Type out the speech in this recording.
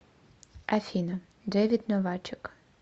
афина дэвид новачек